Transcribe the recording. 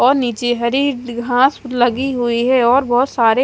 और नीचे हरि घास लगी हुई है और बोहोत सारे--